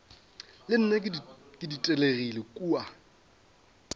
le nna ke ditelegile kua